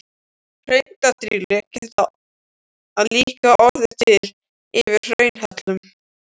Hraundrýli geta líka orðið til yfir hraunhellum.